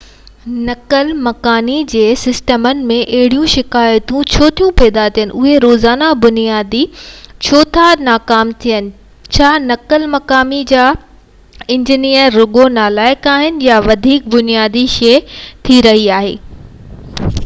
نقل مڪاني جي سسٽمن ۾ اهڙيون شڪايتون ڇو ٿيون پيدا ٿين اهي روزاني بنياد تي ڇو ٿا ناڪام ٿين ڇا نقل مقاني جا انجينئر رڳو نالائق آھن يا ڪا وڌيڪ بنيادي شيءِ ٿي رهي آهي